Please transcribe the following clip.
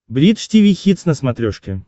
бридж тиви хитс на смотрешке